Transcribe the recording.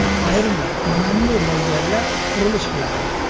Ayrimlar nimanidir mo‘ljallab, qurilish qiladi.